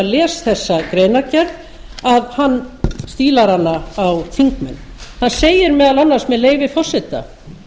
les þessa greinargerð að hann stílar hana á þingmenn hann segir meðal annars með leyfi forseta